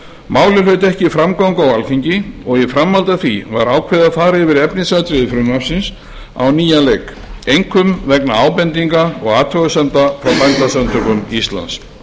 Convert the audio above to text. málið hlaut ekki framgang á alþingi og í framhaldi af því var ákveðið að fara yfir efnisatriði frumvarpsins á nýjan leik einkum vegna ábendinga og athugasemda frá bændasamtökum íslands